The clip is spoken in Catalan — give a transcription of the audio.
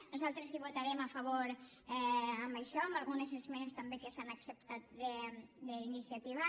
nosaltres votarem a favor d’això amb algunes esmenes també que s’han acceptat d’iniciativa